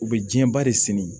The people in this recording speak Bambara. U bɛ diɲɛba de se